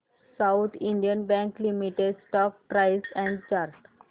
south Indian Bank Limited stock price and chart